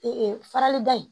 farali da in